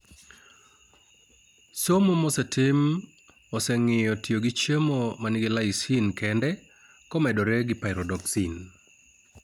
Somo mosetim oseng'iyo tiyo gi chiemo manigi lysine kende komedore gi pyridoxine